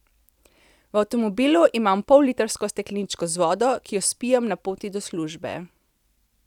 V avtomobilu imam pollitrsko stekleničko z vodo, ki jo spijem na poti do službe.